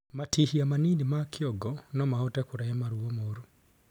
Matihia manini ma kĩongo nomahote kurehe maruo moru